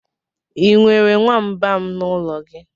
I nwere nwamba n'ụlọ gị?